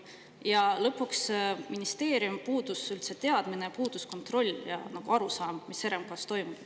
Ja lõpuks, ministeeriumil puudus üldse teadmine, puudus kontroll ja arusaam, mis RMK-s toimub.